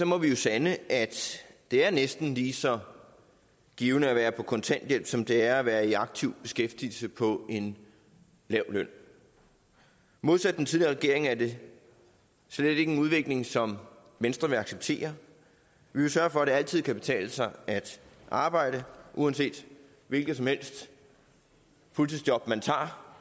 må vi jo sande at det er næsten lige så givtigt at være på kontanthjælp som det er at være i aktiv beskæftigelse på en lav løn modsat den tidligere regering er det slet ikke en udvikling som venstre vil acceptere vi vil sørge for at det altid kan betale sig at arbejde uanset hvilket fuldtidsjob man tager